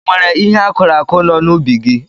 E nwere ihe akụrụ akụ no n'ubi gị.